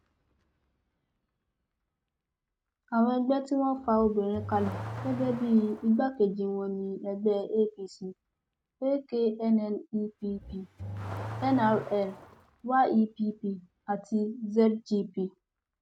àwọn ẹgbẹ tí wọn fa obìnrin kalẹ gẹgẹ bíi igbákejì wọn ni ẹgbẹ apc aknnepp nrl yepp àti zgp